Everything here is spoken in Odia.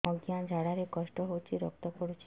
ଅଜ୍ଞା ଝାଡା ରେ କଷ୍ଟ ହଉଚି ରକ୍ତ ପଡୁଛି